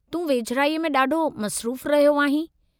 तूं वेझिड़ाईअ में ॾाढो मसरूफ़ु रहियो आहीं।